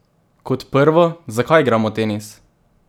Kot prvo, zakaj igramo tenis?